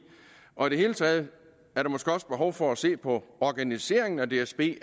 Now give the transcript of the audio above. og i det hele taget er der måske også behov for at se på organiseringen af dsb